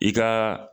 I ka